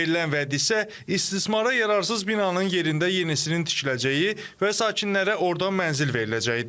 Verilən vəd isə istismara yararsız binanın yerində yenisinin tikiləcəyi və sakinlərə orda mənzil veriləcəyidir.